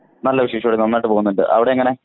നല്ല വിശേഷം ഇവിടെ നന്നായിട്ട് പോകുന്നുണ്ട് അവിടെ എങ്ങനെ.